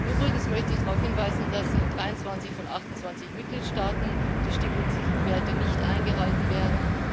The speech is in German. Übrigens möchte ich darauf hinweisen, dass in 23 von 28 Mitgliedstaaten die Stickoxidwerte nicht eingehalten werden.